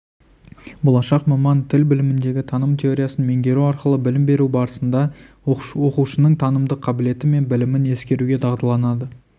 болашақ маман тіл біліміндегі таным теориясын меңгеру арқылы білім беру барысында оқушының танымдық қабілеті мен білімін ескеруге дағдыланады